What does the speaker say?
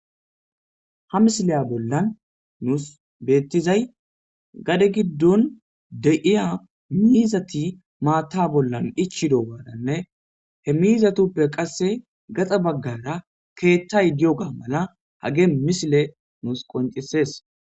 ha misileya bollan nuus beettizay gade giddon de7iya miizati maatta bollan ichido gaadanne he miizatuppe qasse gaxa baggara keeththay di7oga mala hage misile nuus qoncisees